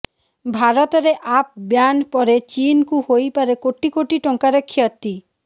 ଭାରତରେ app ban ପରେ ଚୀନକୁ ହୋଇପାରେ କୋଟି କୋଟି ଟଙ୍କାର କ୍ଷତି